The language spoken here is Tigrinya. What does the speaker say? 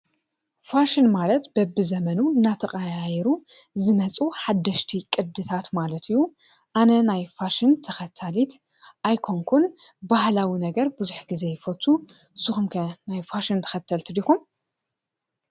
ፋሽን ማለት በቢዘመኑ እናተቐያየሩ ዝመፁ ሓደሽቲ ቅድታት ማለት እዪ። ኣነ ናይ ፋሽን ተኸታሊት ኣይኮንኩን፣ ባህላዊ ነገር ብዙሕ ግዜ ይፈቱ። ንስኹም ከ ናይ ፋሽን ተከተልቲ ዲኹም ?